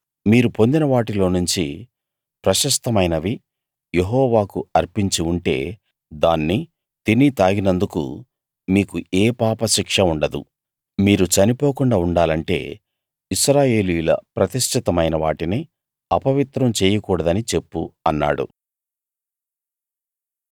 మీరు పొందిన వాటిలోనుంచి ప్రశస్తమైనవి యెహోవాకు అర్పించి ఉంటే దాన్ని తిని తాగినందుకు మీకు ఏ పాపశిక్ష ఉండదు మీరు చనిపోకుండా ఉండాలంటే ఇశ్రాయేలీయుల ప్రతిష్ఠితమైన వాటిని అపవిత్రం చెయ్యకూడదని చెప్పు అన్నాడు